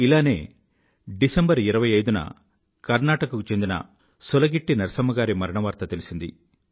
ఇలానే డిసెంబర్ 25న కర్ణాటక కు చెందిన సులగిట్టి నరసమ్మ గారి మరణవార్త తెలిసింది